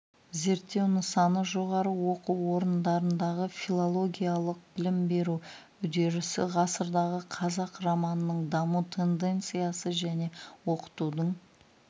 зерттеу нысаны жоғары оқу орындарындағы филологиялық білім беру үдерісі ғасырдағы қазақ романының даму тенденциясы және оқытудың